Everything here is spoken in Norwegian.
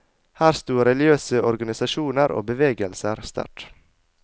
Her stod religiøse organisasjoner og bevegelser sterkt.